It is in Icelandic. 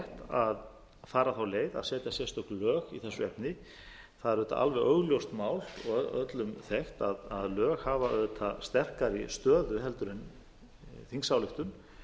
að fara þá leið að setja sérstök lög í þessu efni það er auðvitað alveg augljóst mál og öllum þekkt að lög hafa auðvitað sterkari stöðu en þingsályktun